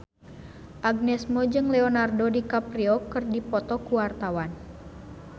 Agnes Mo jeung Leonardo DiCaprio keur dipoto ku wartawan